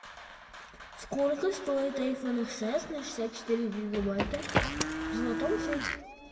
сколько стоит айфон икс эс на шестьдесят четыре гигабайта в золотом цвете